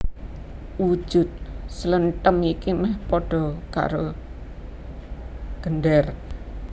Wujud slenthem iki mèh padha karo gendèr